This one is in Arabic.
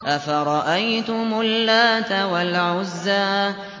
أَفَرَأَيْتُمُ اللَّاتَ وَالْعُزَّىٰ